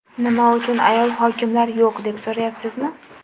Nima uchun ayol hokimlar yo‘q, deb so‘rayapsizmi?